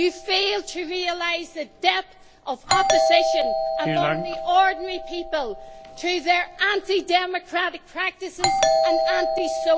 You fail to realise the depth of opposition among the ordinary people to their anti democratic practices and anti social policies.